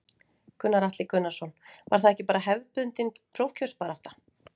Gunnar Atli Gunnarsson: Var það ekki bara hefðbundin prófkjörsbarátta?